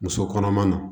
Muso kɔnɔma na